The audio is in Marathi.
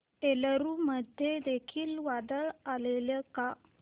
एलुरू मध्ये देखील वादळ आलेले का